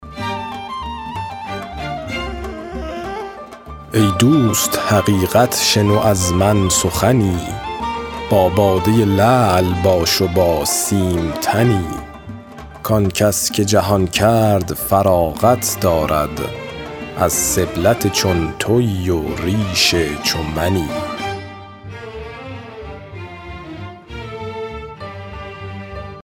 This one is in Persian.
ای دوست حقیقت شنو از من سخنی با باده لعل باش و با سیم تنی که آنکس که جهان کرد فراغت دارد از سبلت چون تویی و ریش چو منی